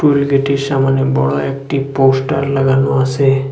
Toll গেটের সামোনে বড়ো একটি পোস্টার লাগানো আসে।